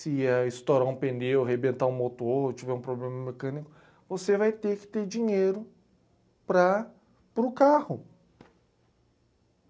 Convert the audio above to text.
se estourar um pneu, arrebentar um motor, tiver um problema mecânico, você vai ter que ter dinheiro para, para o carro.